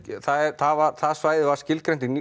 það svæði var skilgreint í